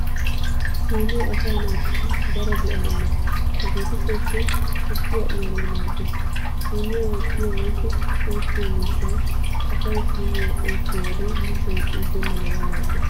Siinee asaa naatussi daro go'aa immees hegeetuppe issoy tukkiyaa uyanawu maaddees. Siiniyaa wottiyo woykko oykkiyo miishshay asay siiniyaa oykkiyo wode mishoy xuuggenna mala maaddees.